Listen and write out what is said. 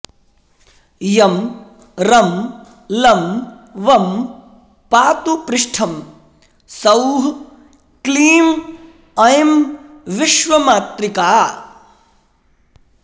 यं रं लं वं पातु पृष्ठं सौः क्लीं ऐं विश्वमातृका